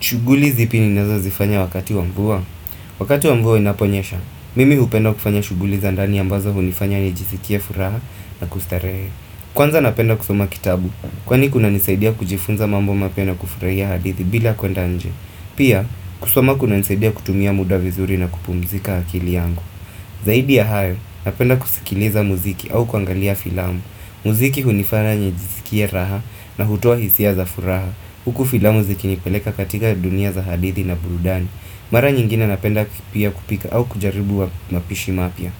Shuguli zipi ninazo zifanya wakati wa mvua Wakati wa mvua inaponyesha Mimi hupenda kufanya shuguli za ndani ambazo hunifanya nijisikie furaha na kustarehe Kwanza napenda kusoma kitabu Kwani kunanisaidia kujifunza mambo mapya kufurahia hadithi bila kuendnje Pia kusoma kuna nisaidia kutumia muda vizuri na kupumzika akili yangu Zaidi ya hayo napenda kusikiliza muziki au kuangalia filamu muziki hunifanya nijisikie raha na hutoa hisia za furaha Huku filamu zikinipeleka katika dunia za hadithi na burudani Mara nyingine napenda pia kupika au kujaribu wa mapishi mapya